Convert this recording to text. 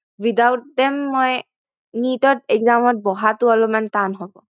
Without them মই NEET ত exam ত বহতো অলপমান টান হব